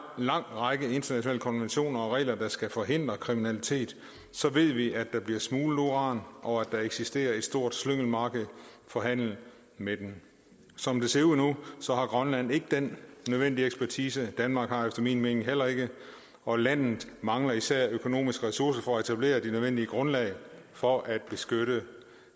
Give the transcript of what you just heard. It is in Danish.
lang række internationale konventioner og regler der skal forhindre kriminalitet så ved vi at der bliver smuglet uran og at der eksisterer et stort slyngelmarked for handel med det som det ser ud nu har grønland ikke den nødvendige ekspertise danmark har efter min mening heller ikke og landet mangler især økonomiske ressourcer for at etablere det nødvendige grundlag for at beskytte